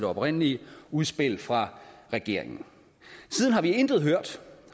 oprindelige udspil fra regeringen siden har vi intet hørt